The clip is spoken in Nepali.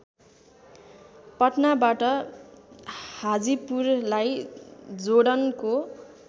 पटनाबाट हाजीपुरलाई जोडनको